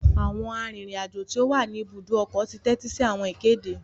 Awọn arinrin-ajo ti o wá ní ibùdó ọkọ ti tẹtisi awọn ìkéde